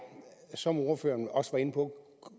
som ordføreren også var inde på